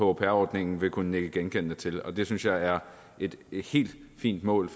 au pair ordningen vil kunne nikke genkendende til og det synes jeg er et helt fint mål